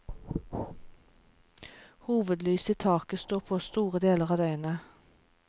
Hovedlyset i taket står på store deler av døgnet.